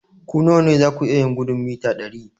Ku nawa ne za ku iya gudun mita dari?